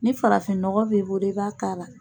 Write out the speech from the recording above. Ni farafinɔgɔ b'e bolo i b'a k'a la.